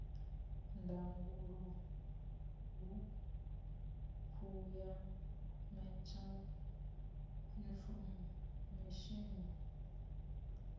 ndangulo hukhu ya meta infomesheni